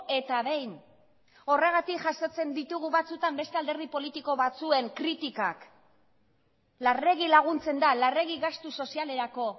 eta behin horregatik jasotzen ditugu batzuetan beste alderdi politiko batzuen kritikak larregi laguntzen da larregi gastu sozialerako